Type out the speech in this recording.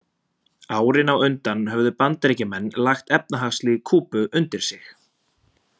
Árin á undan höfðu Bandaríkjamenn lagt efnahagslíf Kúbu undir sig.